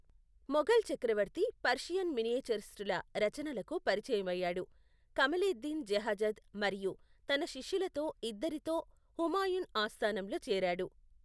మొఘల్ చక్రవర్తి పర్షియన్ మినియేచరిస్టుల రచనలకు పరిచయమయ్యాడు, కమలేద్దీన్ బెహజాద్ మరియు తన శిష్యులలో ఇద్దరితో హుమాయూన్ ఆస్థానంలో చేరాడు.